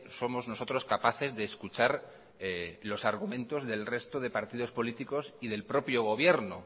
somos nosotros capaces de escuchar los argumentos del resto de partidos políticos y del propio gobierno